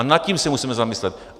A nad tím se musíme zamyslet.